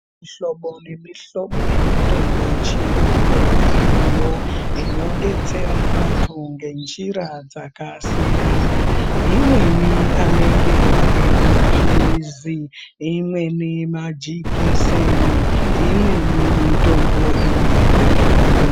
Mihlobo nemihlobo yemitombo yechiyungu iriyo inobetsera vantu ngenjira dzakasiyana. Imweni anenge ari maphirizi, imweni majekiseni, imweni mitombo inoitwe zvekumwiva.